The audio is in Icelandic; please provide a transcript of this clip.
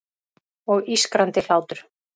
Og ískrandi hlátur.